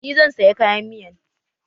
Ni zan saya kayan miyan